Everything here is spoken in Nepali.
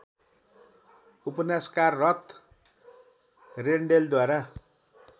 उपन्यासकार रथ रेन्डेलद्वारा